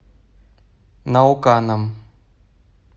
науканом